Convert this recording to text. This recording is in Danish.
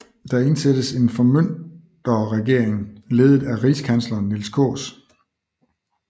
Der indsættes en formynderregering ledet af rigskansleren Niels Kaas